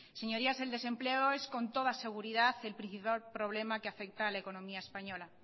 señorías el desempleo es con toda seguridad el principal problema que afecta a la economía española